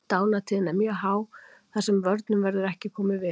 Dánartíðni er mjög há þar sem vörnum verður ekki komið við.